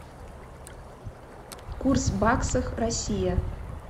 курс баксах россия